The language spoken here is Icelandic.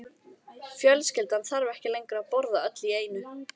Fjölskyldan þarf ekki lengur að borða öll í einu.